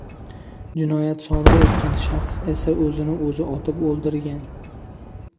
Jinoyat sodir etgan shaxs esa o‘zini o‘zi otib o‘ldirgan.